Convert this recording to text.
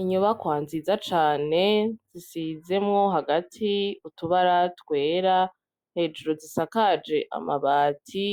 Inyubakwa nziza cane, zisizwemwo hagati utubara twera, hejuru zisakaje amabati.